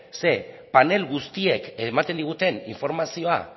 ze panel guztiek ematen diguten informazioa